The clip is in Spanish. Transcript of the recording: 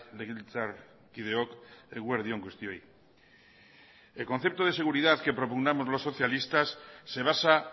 legebiltzarkideok eguerdi on guztioi el concepto de seguridad que propugnamos los socialistas se basa